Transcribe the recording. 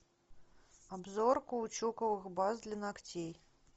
обзор каучуковых баз для ногтей